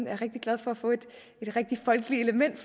er rigtig glade for at få et folkeligt element